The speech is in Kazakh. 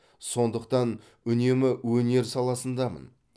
сондықтан үнемі өнер саласындамын